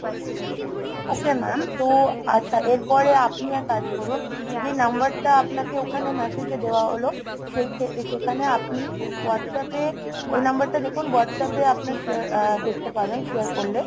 ok mam তো আচ্ছা এরপরে আপনি আর কাজ করুন, যে number টা আপনাকে ওখানে message এ দেওয়া হল, সেখা~ সেখানে আপনি WhatsApp এ ওই number টা দেখুন WhatsApp এ আপনার share~ দেখতে পাবেন, share করলে।